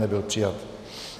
Nebyl přijat.